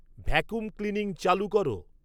vacuum cleaning চালু কর